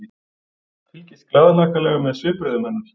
Fylgist glaðhlakkalegur með svipbrigðum hennar.